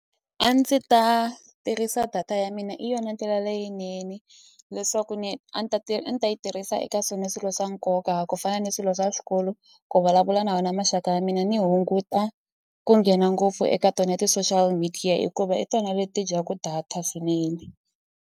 A ndzi ta tirhisa data ya mina i yona ndlela leyinene leswaku ni a ni ta a ni ta yi tirhisa eka swona swilo swa nkoka ku fana ni swilo swa swikolo ku vulavula na wona maxaka ya mina ni hunguta ku nghena ngopfu eka tona ya ti-social media hikuva hi tona leti dyaku data swinene.